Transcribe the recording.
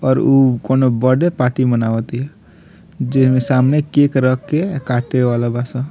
और उ कउनो बडे पाटी मानवतिया जे में सामने केक रख के काटे वाला बा सब |